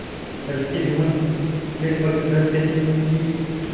मंडल के भवन में पग धरते ही उसकी